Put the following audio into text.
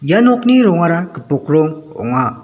ia nokni rongara gipok rong ong·a.